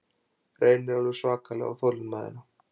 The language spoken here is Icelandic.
Reynir alveg svakalega á þolinmæðina